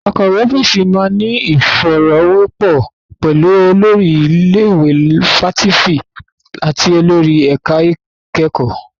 Akọ̀wé ọ́fíìsì máa ní ìfọ̀rọ̀wérọ̀ pẹ̀lú olórí ilé ìwé fáfitì àti olórí ẹ̀ka ìkẹ́kọ̀ọ́.